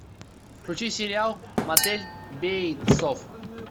включи сериал мотель бейтсов